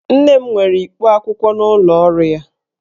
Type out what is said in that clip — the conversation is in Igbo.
Nne m nwere ikpo akwụkwọ n'ụlọ ọrụ ya